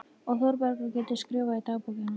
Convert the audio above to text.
Og Þórbergur getur skrifað í dagbókina